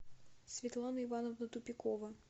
светлана ивановна тупикова